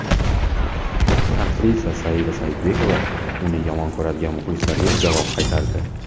Aktrisa Saida Saidbekova uni yomon ko‘radigan muxlislarga javob qaytardi.